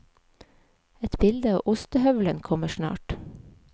Et bilde av ostehøvelen kommer snart.